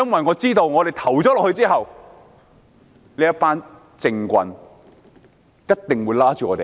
我知道在表決後，這群政棍一定又會追罵我們。